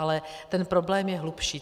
Ale ten problém je hlubší.